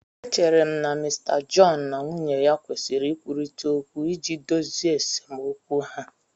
Echere m na Mr John na nwunye ya kwesịrị ikwurịta okwu iji dozie esemokwu ha